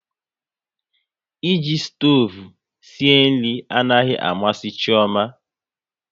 E ji stoovu sie nri anaghị amasị Chioma